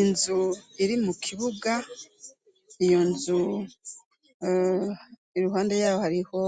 Inzu iri mu kibuga io nzu i ruhande yaho hariho